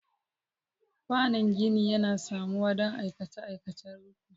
Kwanon gini yana samuwa don aikace-aikacen rufi.